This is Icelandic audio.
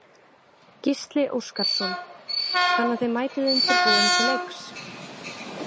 Gísli Óskarsson: Þannig að þið mætið undirbúin til leiks?